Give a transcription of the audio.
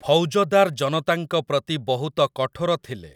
ଫୌଜଦାର ଜନତାଙ୍କ ପ୍ରତି ବହୁତ କଠୋର ଥିଲେ ।